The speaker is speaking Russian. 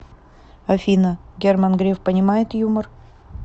афина герман греф понимает юмор